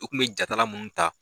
U kun bi ja ta la mun ta